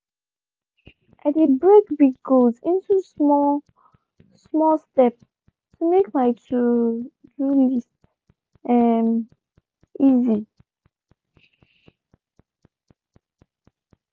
i de break big goals into small-small step to make my to-do list um easy.